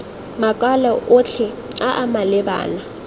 makwalo otlhe a a malebana